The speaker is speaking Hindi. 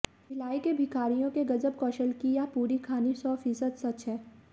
भिलाई के भिखारियों के गजब कौशल की यह पूरी कहानी सौ फीसद सच है